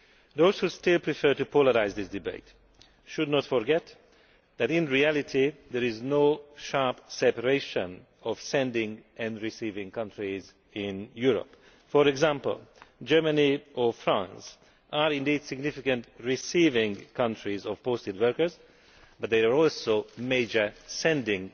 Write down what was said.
Those who still prefer to polarise this debate should not forget that in reality there is no sharp separation of sending and receiving countries in Europe. For example, Germany and France are indeed significant receiving countries of posted workers, but they are also major sending